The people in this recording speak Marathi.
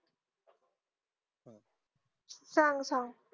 सांग मंग